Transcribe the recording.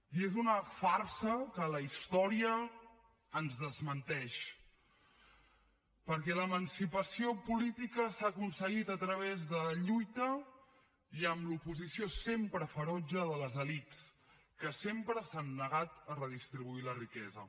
i és una farsa que la història ens desmenteix perquè l’emancipació política s’ha aconseguit a través de lluita i amb l’oposició sempre ferotge de les elits que sempre s’han negat a redistribuir la riquesa